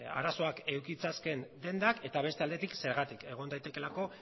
arazoak eduki ditzaketen dendak eta beste aldetik zergatik egon daitekeelako